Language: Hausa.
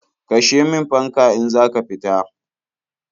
Kashe min fanka in za ka fita.